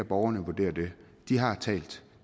borgerne vurdere det de har talt